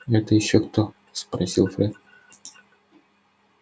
это ещё кто спросил фред